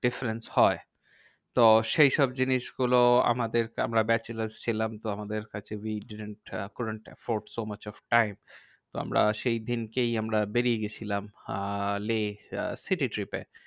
Difference হয়। তো সেইসব জিনিসগুলো আমাদেরকে আমরা bachelor ছিলাম তো আমাদের কাছে we did not could not efort so much of time. তো আমরা সেইদিনকেই আমরা বেরিয়ে গেছিলাম আহ লেহ city trip এ